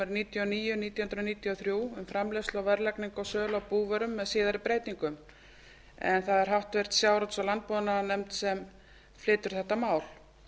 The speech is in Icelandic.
níutíu og níu nítján hundruð níutíu og þrjú um framleiðslu verðlagningu og sölu á búvörum með síðari breytingum það er háttvirtur sjávarútvegs og landbúnaðarnefnd sem flytur þetta mál